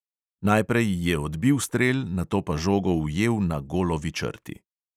Najprej je odbil strel, nato pa žogo ujel na golovi črti.